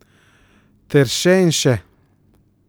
Ter še in še.